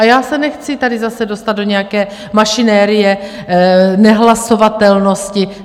A já se nechci tady zase dostat do nějaké mašinerie nehlasovatelnosti.